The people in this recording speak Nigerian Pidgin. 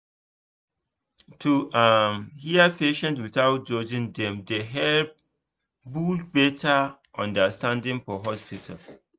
to um hear patients without judging dem dey help build better understanding for hospital